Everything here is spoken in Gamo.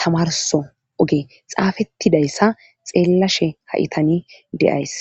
tamarso oge xaafettidayssa xeellashe ha7i tani deays